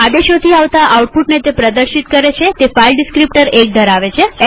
તે આદેશોથી આવતા આઉટપુટને પ્રદર્શિત કરે છેતે ફાઈલ ડીસ્ક્રીપ્ટર 1 ધરાવે છે